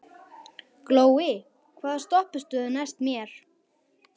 Glói, hvaða stoppistöð er næst mér?